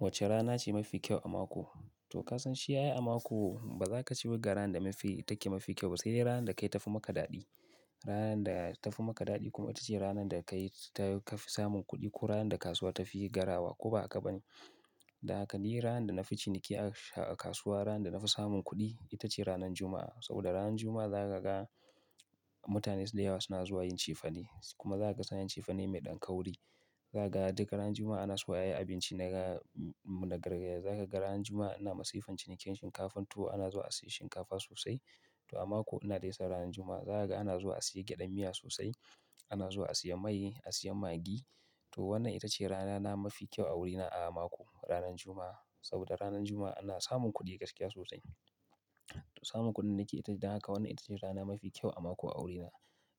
Wacce rana ce mafi kyau a mako? To ka san shi aii a mako ba za ka ce wace rana da take mafi kyau ba. Sai ranar da kai ta fi maka daɗi. Ranar da ta fi maka daɗi kuma ita ce ranar da ka fi samun kuɗi ko ranar da kasuwa ta fi garawa, ko ba haka ba ne? Da haka ne ranar da na fi ciniki a kasuwa, ranar da na fi samun kuɗi ita ce ranar Juma'a. Saboda ranar Juma'a za ka ga mutane da yawa suna zuwa yin cifane kuma za ka san yin cifane mai ɗan kauri. Za ka ga duk ranar Juma'a ana so ayi abinci na gargajiya. Za ka ga ranar Juma'a ana masifan cinikin shinkafa. To ana zuwa a sayi shinkafa sosai. To a mako ina dai sa ranar Juma'a. Za ka ga ana zuwa a sayi gyaɗan miya sosai, ana zuwa a sayi mai, a sayi Maggi. To wannan ita ce rana na mafi kyau a wurina a mako, ranar Juma'a. Saboda ranar Juma'a ana samun kuɗi gaskiya sosai. Samun kuɗin da ke ita. Dan haka wannan ita ce rana mafi kyau a mako a wurina.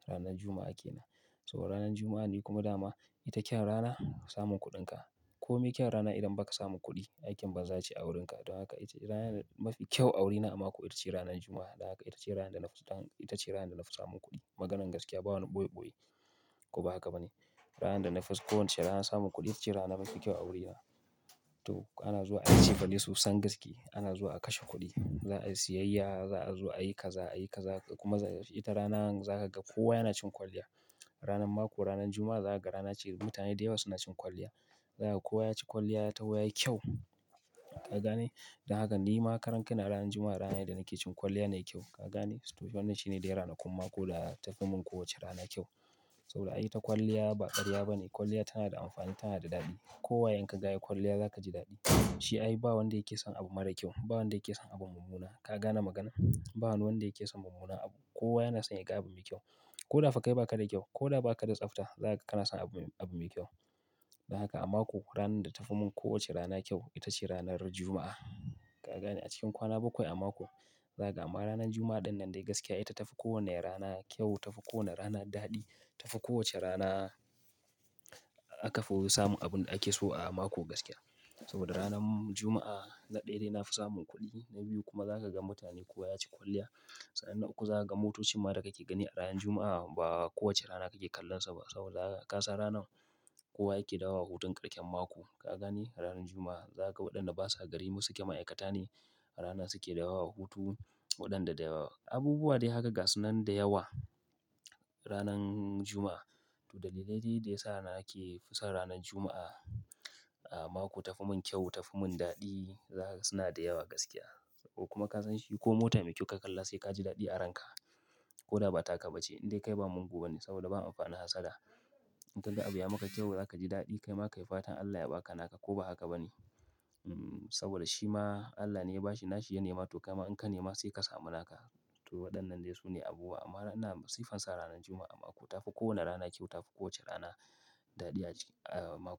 Ranar Juma'a ke nan. Saboda ranar Juma'a ni kuma dama ita kyan rana samun kuɗinka. Ko me kyan rana idan ba ka samun kuɗi, aikin ban za ce a wurinka. Don haka ita ce rana mafi kyau a wurina a mako. Ita ce ranar Juma'a. Da haka ita ce ranar da na fi samun kuɗi. Maganar gaskiya ba wani ɓoye-ɓoye, ko ba haka ba ne? Ranar da na fi kowace rana samun kuɗi ita ce rana mafi kyau a wurina. To ana zuwa a yi cifane sosan gaskiya. Ana zuwa a kashe kuɗi, za a yi siyayya, za a zo a yi kaza, a yi kaza kuma ita rana za ka ga kowa yana cin kwalliya. Ranar mako, ranar Juma'a za ka ga rana ce da mutane da yawa suna cin kwalliya. Za kaga kowa ya ci kwalliya ta yawa, ya yi kyau. Ka gane? Dan haka ni ma karan ka na ranar Juma'a rana ne da nake cin kwalliya na yi kyau. Ka gane? To wannan shi ne dai rana kun mako da ta tafi mun kowace rana kyau. Saboda ai ta kwalliya ba ƙarya ba ne. Kwalliya tana da amfani, tana da daɗi. Kowaye in ka gaya kwalliya za ka ji daɗi. Shi ai ba wanda yake son abu mara kyau. Ba wanda yake son abu mummuna. Ka gane magana? Ba wani wanda yake son mummuna abu. Kowa yana son yaga abu mai kyau. Ko da fa kai ba ka da kyau, ko da ba ka da tsafta, za ka kana son abu mai kyau. Da haka a mako ranar da ta fi mun kowace rana kyau ita ce ranar Juma'a. Ka gane? A cikin kwana bakwai a mako, za ka ga amma ranar Juma'a ɗin nan dai gaskiya ita ta fi kowane rana kyau, ta fi kowane rana daɗi. Ta fi kowace rana aka fi samu abin da ake so a mako gaskiya. Saboda ranar Juma'a na ɗaya dai na fi samun kuɗi, na biyu kuma za ka ga mutane kowa ya ci kwalliya. San nan uku za ka ga motocin ma da ka ke gani a ranar Juma'a ba kowace rana ka ke kallonsa ba. Saboda haka ka san ranar kowa yake dawo a hutun ƙarshen mako. Ka gane? Ranar Juma'a za ka ga waɗanda basa gari masu ke ma'aikata ne a rana su ke dawo wa hutu. Waɗanda da Abubuwa dai haka gasu nan da yawa ranan Juma'a. To dalilai dai da yasa nake fi son ranar Juma'a a mako tafi mun kyau, tafi mun daɗi zaka ga suna da yawa gaskiya. Kuma ka san shi ko mota mai kyau ka kalla sai ka ji daɗi a ranka. Ko da ba ta ka ba ce. Indai kai ba mugu ba ne saboda ba amfani hassa da. In ka ga abu ya maka kyau, za ka ji daɗi. Kai ma ka yi fatan Allah ya ba ka naka ko ba haka ba ne? Saboda shi ma Allah ne ya ba shi. Na shi ya nema. To kai ma in ka nema sai ka samu naka. To waɗannan dai su ne abubuwa amma ina masifan sa ranar Juma'a an mako tafi kowane rana kyau, tafi kowace rana daɗi a mako.